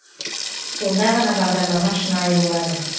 сонда ғана бағдарлама шынайы болады